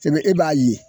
Sɛbɛn e b'a ye